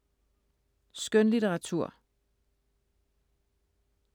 Skønlitteratur